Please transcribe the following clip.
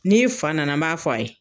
N'i fa nana n b'a fɔ a ye.